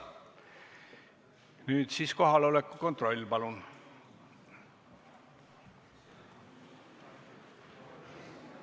Nüüd kohaloleku kontroll, palun!